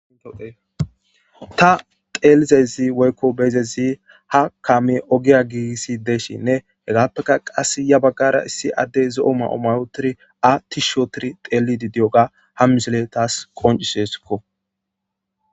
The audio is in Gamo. Kewoodeeta teelizezi woykko beezezi ha kame ogiya giisi deshinne hegaappeka qass ya baggara issi addey zo7o mao mayotiri a ti shootiri teelidi di7oga ha misile taas qoncisesikko.